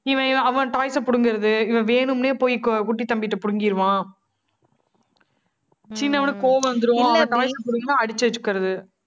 இவ~ இவன் அவன் toys அ புடுங்குறது. இவன் வேணும்னே, போய் கோ~ குட்டி தம்பிட்ட புடுங்கிருவான். சின்னவுனுக்கு கோவம் வந்துரும். அவனோடதா புடுக்குன்னா அடிச்சு வச்சுக்கிறது